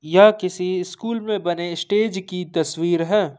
यह किसी स्कूल में बने स्टेज की तस्वीर है।